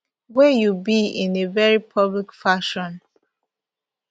wey you be in a very public fashion